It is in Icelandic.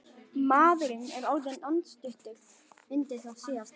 Maðurinn er orðinn andstuttur undir það síðasta.